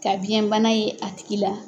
Ka biyɛnbana ye a tigi la.